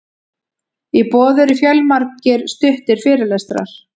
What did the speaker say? í boði eru fjölmargir stuttir fyrirlestrar